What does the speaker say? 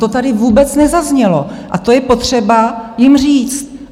To tady vůbec nezaznělo a to je potřeba jim říct.